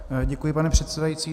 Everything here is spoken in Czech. Děkuji, pane předsedající.